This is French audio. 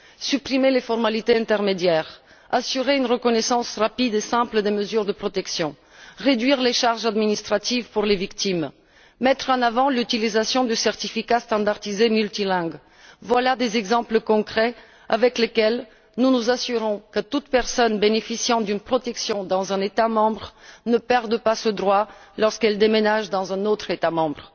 Supprimer les formalités intermédiaires, assurer une reconnaissance rapide et simple des mesures de protection, réduire les charges administratives pour les victimes, mettre en avant l'utilisation du certificat standardisé multilingue, voilà des exemples concrets des mesures prises pour garantir que toute personne bénéficiant d'une protection dans un État membre ne perd pas ce droit lorsqu'elle se déplace et s'installe dans un autre État membre.